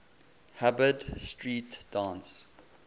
hubbard street dance